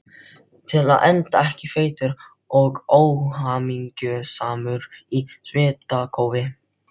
Til að enda ekki feitur og óhamingjusamur í svitakófi.